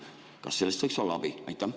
Kas sellest võiks olla abi?